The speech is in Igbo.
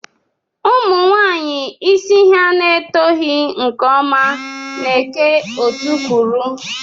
Umunwaanyi isi ha na-etoghi nke ọma na-eke otú kwuru.